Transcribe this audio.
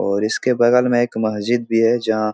और इसके बगल में एक मस्जिद भी है जहाँ --